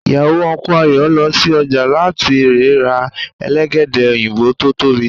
ìyàwó Unku Ayo lọ sí ọjà láti rẹ̀ ra Elégédé òyìnbó tó tóbi